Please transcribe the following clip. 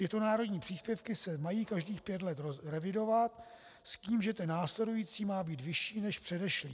Tyto národní příspěvky se mají každých pět let revidovat, s tím, že ten následující má být vyšší než předešlý.